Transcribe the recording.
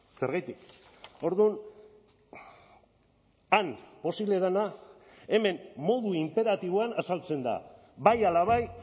zergatik orduan han posible dena hemen modu inperatiboan azaltzen da bai ala bai